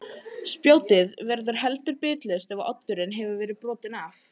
Spjótið verður heldur bitlaust ef oddurinn hefur verið brotinn af.